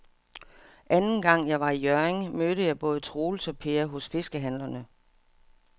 Anden gang jeg var i Hjørring, mødte jeg både Troels og Per hos fiskehandlerne.